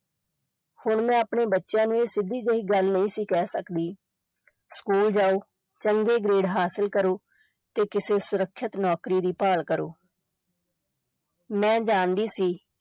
ਹੁਣ ਮੈਂ ਆਪਣੇ ਬਚਿਆਂ ਨੂੰ ਇਹ ਸਿਧੀ ਜਿਹੀ ਗੱਲ ਨਹੀਂ ਸੀ ਕਹਿ ਸਕਦੀ, ਸਕੂਲ ਜਾਓ, ਚੰਗੇ grade ਹਾਸਲ ਕਰੋ ਤੇ ਕਿਸੇ ਸੁਰੱਖਿਅਤ ਨੌਕਰੀ ਦੀ ਭਾਲ ਕਰੋ ਮੈਂ ਜਾਣਦੀ ਸੀ